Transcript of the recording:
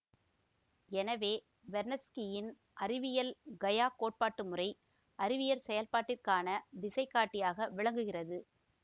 எனவே வெர்னத்ஸ்கியின் அறிவியல் கயா கோட்பாட்டுமுறை அறிவியற் செயல்பாட்டிற்கான திசைகாட்டியாக விளங்குகிறது